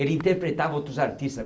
Ele interpretava outros artistas